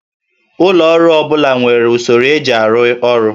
Ụlọ ọrụ ọ bụla nwere usoro eji arụ ọrụ